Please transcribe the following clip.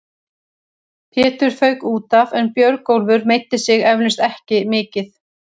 Pétur fauk útaf en Björgólfur meiddi sig eflaust ekki mikið.